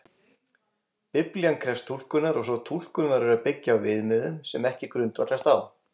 Biblían krefst túlkunar og sú túlkun verður að byggja á viðmiðum sem ekki grundvallast á